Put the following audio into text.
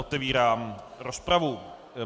Otevírám rozpravu.